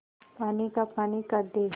पानी का पानी कर दे